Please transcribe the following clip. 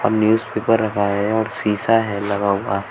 Newspaper रखा है और शीशा है लगा हुआ।